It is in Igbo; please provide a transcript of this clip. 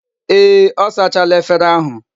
Ee, o sachala efere ahu